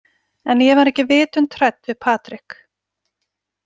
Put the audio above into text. En ég var aldrei vitund hrædd við Patrik.